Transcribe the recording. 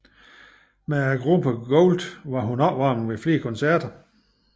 Med gruppen Gold var hun opvarmning ved flere koncerter